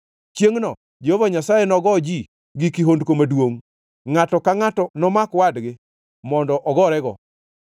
Chiengʼno Jehova Nyasaye nogo ji gi kihondko maduongʼ. Ngʼato ka ngʼato nomak wadgi mondo ogorego.